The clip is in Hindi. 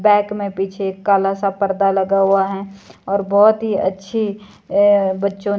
बैक में पीछे काला सा पर्दा लगा हुआ है और बहुत ही अच्छी बच्चों ने--